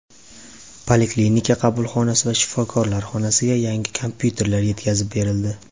Poliklinika qabulxonasi va shifokorlar xonasiga yangi kompyuterlar yetkazib berildi.